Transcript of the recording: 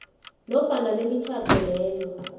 nofana bemitjhado leyo